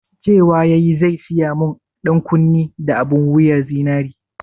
Cewa yayi zai saya mun ɗankunne da abun wuyan zinari?